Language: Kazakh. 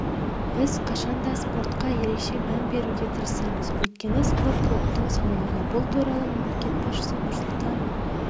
біз қашанда спортқа ерекше мән беруге тырысамыз өйткені спорт ұлттың саулығы бұл туралы мемлекет басшысы нұрсұлтан